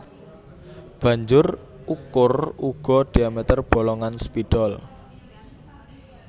Banjur ukur uga diameter bolongan spidol